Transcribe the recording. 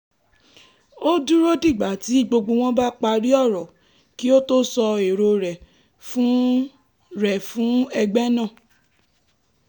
ó dúró dìgbà tí gbogbo wọn bá parí ọ̀rọ̀ kí ó tó sọ èrò rẹ̀ fún rẹ̀ fún ẹgbẹ́ náà